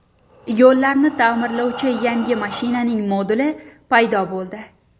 Yo‘llarni ta’mirlovchi yangi mashinaning moduli paydo bo‘ldi .